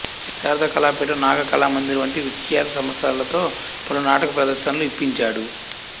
శారద కళాపీఠం నాగకళామందిర్ వంటి విఖ్యాత సంస్థలతో పలు నాటక ప్రదర్శనలు ఇప్పించాడు